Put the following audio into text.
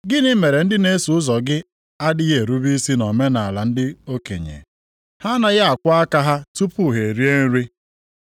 “Gịnị mere ndị na-eso ụzọ gị adịghị erube isi nʼomenaala ndị okenye? Ha anaghị akwọ aka ha tupu ha erie nri.”